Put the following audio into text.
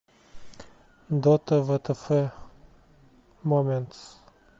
дота втф моментс